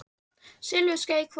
Silfurskeiðin hvað?